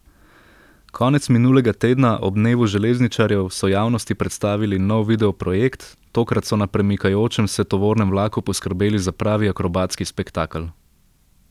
Konec minulega tedna, ob dnevu železničarjev, so javnosti predstavili nov video projekt, tokrat so na premikajočem se tovornem vlaku poskrbeli za pravi akrobatski spektakel.